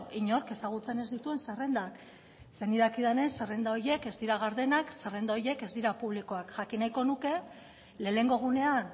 inork ezagutzen ez dituen zerrendak ze nik dakidanez zerrenda horiek ez dira gardenak zerrenda horiek ez dira publikoak jakin nahiko nuke lehenengo egunean